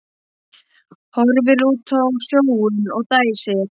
Horfir út á sjóinn og dæsir.